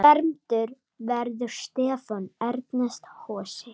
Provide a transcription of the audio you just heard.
Fermdur verður Stefán Ernest Hosi.